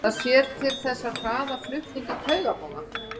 það sér til þess að hraða flutningi taugaboða